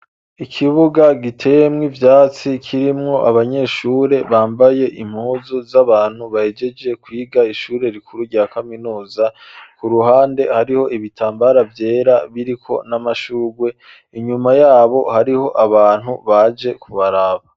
Ikibuga gitemwo ivyatsi, kirimwo abanyeshure bambaye impuzu z'abantu bahejeje kwiga ishure rikuru rya kaminuza, ku ruhande hariho ibitambara vyera biriko n'amashurwe, inyuma yabo hariho abantu baje kubaraba.